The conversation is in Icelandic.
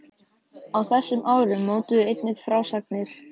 Á þessum árum mótuðu einnig frásagnir